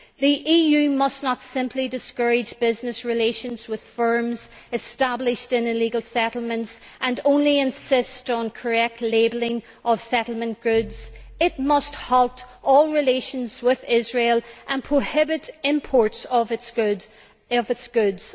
The EU must not simply discourage business relations with firms established in illegal settlements and only insist on correct labelling of settlement goods, but must also halt all relations with Israel and prohibit imports of its goods.